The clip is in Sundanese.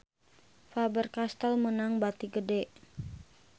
Faber Castel meunang bati gede